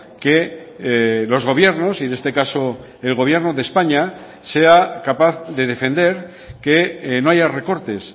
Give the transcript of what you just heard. que los gobiernos y en este caso el gobierno de españa sea capaz de defender que no haya recortes